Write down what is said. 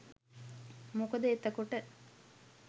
මොකද එතකොට